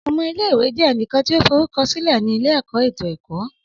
Ọmọ ile-iwe jẹ ẹnikan ti o forukọsilẹ ni ile-ẹkọ eto ẹkọ